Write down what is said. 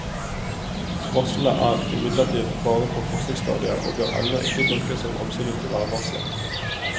Varslene er imidlertid bare på forsøksstadiet og bør ennå ikke tolkes som absolutte værvarsler.